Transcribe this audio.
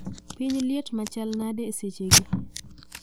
Piny liet machal nade e sechegi